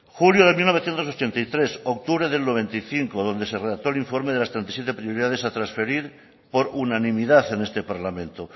julio de mil novecientos ochenta y tres octubre del noventa y cinco donde se redactó el informe de las treinta y siete prioridades a transferir por unanimidad en este parlamento